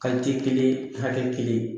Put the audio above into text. kelen hakɛ kelen.